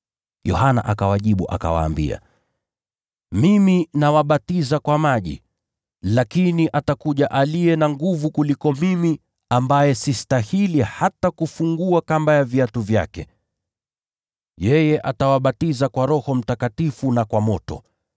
Yohana akawajibu akawaambia, “Mimi nawabatiza kwa maji. Lakini atakuja aliye na nguvu kuniliko mimi, ambaye sistahili hata kufungua kamba za viatu vyake. Yeye atawabatiza kwa Roho Mtakatifu na kwa moto.